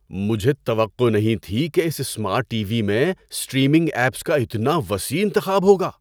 مجھے توقع نہیں تھی کہ اس سمارٹ ٹی وی میں اسٹریمنگ ایپس کا اتنا وسیع انتخاب ہوگا!